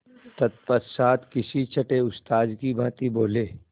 तत्पश्चात किसी छंटे उस्ताद की भांति बोले